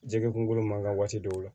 Jɛgɛ kungolo man kan waati dɔw la